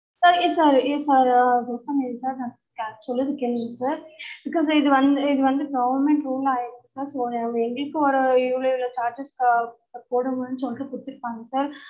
sir sir sir ஆஹ் பேசாம இருங்க sir நான் சொல்றத கேளுங்க sir because இது வந்து இது வந்து government rule ஆய்டுச்சு sir so எங்களுக்கும் ஒரு இவ்ளோ tax போடுங்கனு சொல்ட்டு குடுத்துருக்காங்க sir